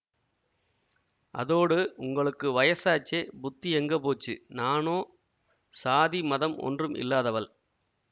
அதோடு உங்களுக்கு வயசாச்சே புத்தி எங்க போச்சு நானோ சாதி மதம் ஒன்றும் இல்லாதவள்